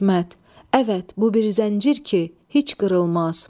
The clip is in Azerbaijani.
İsmət, əvət, bu bir zəncir ki, heç qırılmaz.